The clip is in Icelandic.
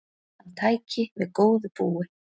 Hann tæki við góðu búi.